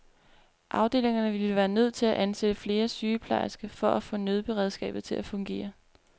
Afdelingerne ville være nødt til at ansætte flere sygeplejersker for at få nødberedskabet til at fungere.